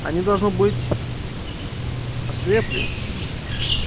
они должно быть ослепли